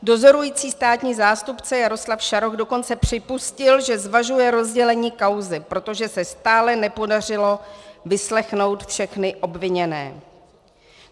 Dozorující státní zástupce Jaroslav Šaroch dokonce připustil, že zvažuje rozdělení kauzy, protože se stále nepodařilo vyslechnout všechny obviněné.